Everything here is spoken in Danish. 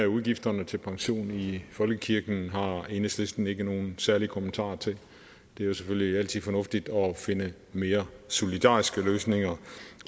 udgifterne til pension i folkekirken har enhedslisten ikke nogen særlige kommentarer til det er selvfølgelig altid fornuftigt at finde mere solidariske løsninger